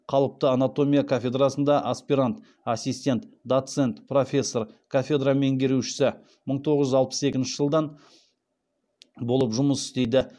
қалыпты анатомия кафедрасында аспирант ассистент доцент профессор кафедра меңгерушісі болып жұмыс істейді